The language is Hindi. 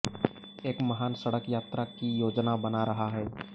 एक महान सड़क यात्रा की योजना बना रहा है